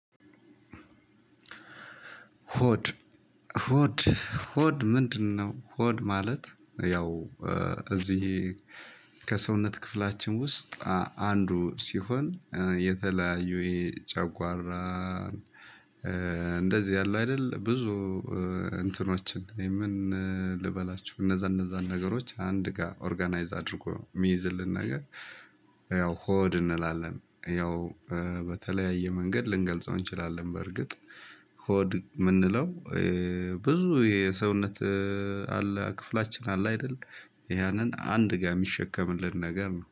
ሆድ ሆድ ሆድ ምንድነው? ሆድ ማለት ያው እዚህ ከሰውነት ክፍላችን ውስጥ አንዱ ሲሆን የተለያዩ የጨጓራ እንደዚህ አሉ አይደል። ብዙ እንትኖችን ምን ልበላችው እነዛ እነዛን ነገሮች አንድ ጋር ኦርጋናይዝ አድርጎ ሚይዝልን ነገር። ያው ሆድ እንላለን ያው በተለያየ መንገድ ልንገልጸው እንችላለን። በእርግጥ ሆድ ምንለው ብዙ የሰውነት አለ ክፍላችን አለ አይደል ያንን አንድ ጋር የሚሸከምልን ነገር ነው